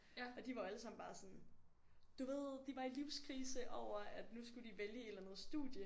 Og de var jo alle sammen bare sådan du ved de var i livskrise over at nu skulle de vælge et eller andet studie